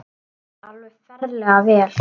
Alveg ferlega vel.